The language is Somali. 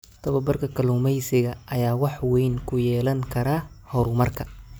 Tababarka kalluumeysiga ayaa wax weyn ku yeelan kara horumarka.